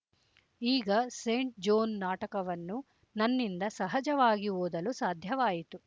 ಈಗ ಸೇಂಟ್‍ಜೋನ್ ನಾಟಕವನ್ನು ನನ್ನಿಂದ ಸಹಜವಾಗಿ ಓದಲು ಸಾಧ್ಯವಾಯಿತು